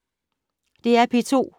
DR P2